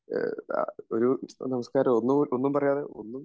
ഒരു നമസ്‌കാരോ ഒന്നും പറയാതെ ഒന്നും